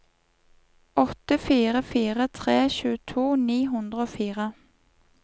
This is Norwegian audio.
åtte fire fire tre tjueto ni hundre og fire